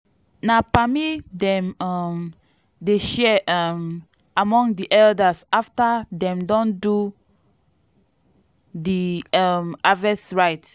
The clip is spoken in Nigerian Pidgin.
na palmy dem um dey share um among di elders after dem don do di um harvest rites.